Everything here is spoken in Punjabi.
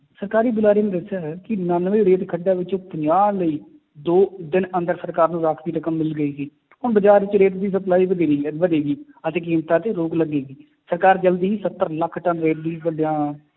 ਸਰਕਾਰੀ ਬੁਲਾਰੇ ਨੇ ਦੱਸਿਆ ਹੈ ਕਿ ਉਨਾਨਵੇਂ ਰੇਤ ਖੱਡਾਂ ਵਿੱਚੋਂ ਪੰਜਾਹ ਲਈ ਦੋ ਦਿਨ ਅੰਦਰ ਸਰਕਾਰ ਨੂੰ ਰਾਂਖਵੀ ਰਕਮ ਮਿਲ ਗਈ ਸੀ ਹੁਣ ਬਾਜ਼ਾਰ ਵਿੱਚ ਰੇਤ ਦੀ ਸਪਲਾਈ ਵਧੇਰੀ ਹੈ ਵਧੇਗੀ ਅਤੇ ਕੀਮਤਾਂ 'ਚ ਰੋਕ ਲੱਗੇਗੀ, ਸਰਕਾਰ ਜ਼ਲਦੀ ਹੀ ਸੱਤਰ ਲੱਖ ਟੱਨ